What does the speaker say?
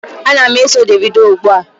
Ana m eso Davido ugbua.